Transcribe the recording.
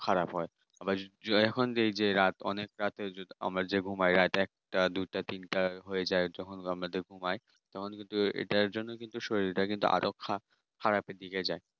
খারাপ হয় আবার যেই যে রাত অনেক রাত্রে যে ঘুমাই রাত একটা দুটা তিন তা হয়ে যায় যখন ঘুমাই এটার জন্য কিন্তু শরীর তা আরও খারাপ এর দিকে যায়